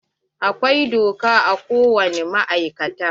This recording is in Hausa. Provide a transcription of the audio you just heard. Akwai bosa a ko wani ma'aikata.